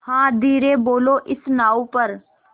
हाँ धीरे बोलो इस नाव पर